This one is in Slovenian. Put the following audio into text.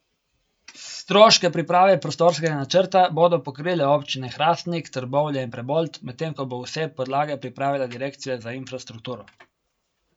Stroške priprave prostorskega načrta bodo pokrile občine Hrastnik, Trbovlje in Prebold, medtem ko bo vse podlage pripravila direkcija za infrastrukturo.